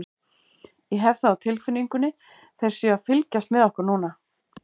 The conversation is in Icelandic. Ég hef það á tilfinningunni þeir séu að fylgjast með okkur núna.